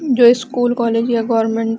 जो school college या government --